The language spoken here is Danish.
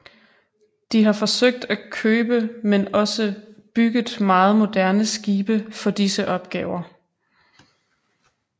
De har forsøgt at købe men også bygget meget moderne skibe for disse opgaver